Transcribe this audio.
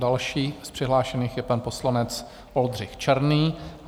Další z přihlášených je pan poslanec Oldřich Černý.